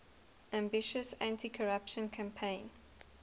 ambitious anticorruption campaign